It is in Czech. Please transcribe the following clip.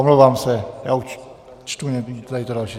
Omlouvám se, já už čtu tady to další.